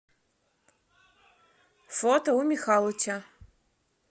фото у михалыча